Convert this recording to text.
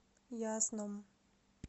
ясном